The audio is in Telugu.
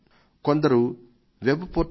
కొందరు నా వెబ్పోర్టల్ mygov